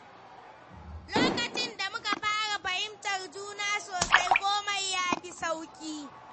Lokacin da muka fara fahimtar juna sosai, komai ya fi sauƙi.